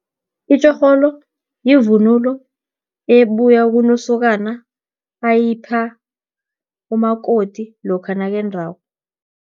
Itjorholo, yivunulo ebuya kunosokana, ayipha umakoti, lokha nakendrako.